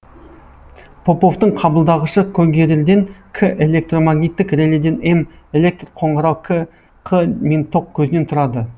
поповтың қабылдағышы когерерден к электромагниттік реледен эм электр қоңырау қ мен ток көзінен тұрады